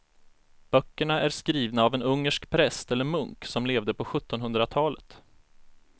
Böckerna är skrivna av en ungersk präst eller munk som levde på sjuttonhundratalet.